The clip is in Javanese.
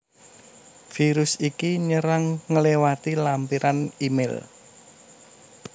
Virus iki nyerangg ngléwati lampiran é mail